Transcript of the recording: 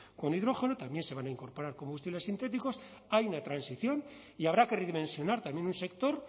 con hidrógeno también se van a incorporar combustibles sintéticos hay una transición y habrá que redimensionar también un sector